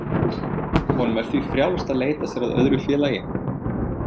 Honum er því frjálst að leita sér að öðru félagi.